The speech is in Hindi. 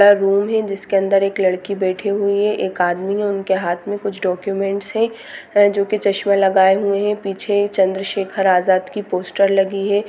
यहाँ रूम है जिसके अंदर एक लड़की बैठी हुई है। एक आदमी है उनके हाथ मे कुछ डॉक्युमेंट्स हैं जो की चश्मा लगाए हुए है पीछे चंद्र शेकर आजाद की पोस्टर लगी है।